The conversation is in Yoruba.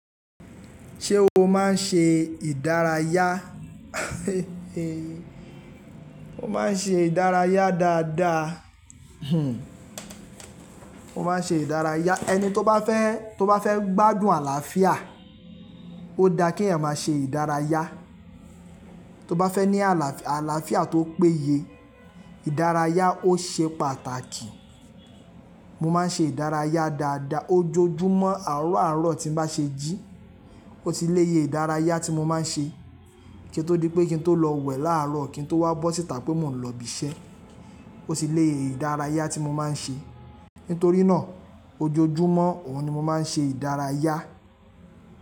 Ṣé o máa ń ṣe ìdárayá? Mo máa ń ṣe ìdárayá dáadáa. Hm. Mo máa ń ṣe ìdárayá. Ẹni tó bá fẹ́, tó bá fẹ́ gbádùn àlàáfíà, ó da kí eeyan máa ṣe ìdárayá. Tó bá fẹ́ ní àlàáfíà tó péye, ìdárayá ó ṣe pàtàkì. Mo máa ń ṣe ìdárayá dáadáa ojoojúmọ́. Àárọ̀ aaro ti n bá ṣe jí, ó ti lo ye ìdárayá tí mo máa ń ṣe kí n tó di pé kí n tó lọ wẹ̀ láàárọ̀ kí n tó wá bọ́ síta pé mo ń lọ bi iṣẹ́. Ó ti lo ye ìdárayá tí mo máa ń ṣe. Nítorí náà ojoojúmọ́ òun ni mo máa ń ṣe ìdárayá.